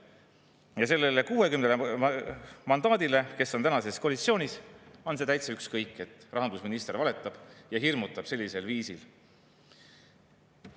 Aga neil 60-l mandaadi saanul, kes on praegu koalitsioonis, on sellest täitsa ükskõik, et rahandusminister valetab ja hirmutab sellisel viisil.